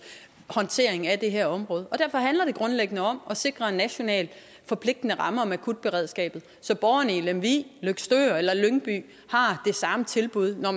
håndtering af det her område derfor handler det grundlæggende om at sikre en nationalt forpligtende ramme om akutberedskabet så borgerne i lemvig løgstør eller lyngby har det samme tilbud når